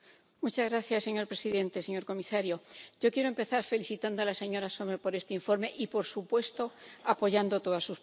Señor presidente, señor comisario, yo quiero empezar felicitando a la señora Sommer por este informe y, por supuesto, apoyando todas sus propuestas.